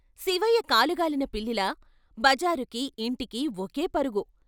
శివయ్య కాలు గాలిన పిల్లిలా బజారుకీ, ఇంటికి ఒకే పరుగు.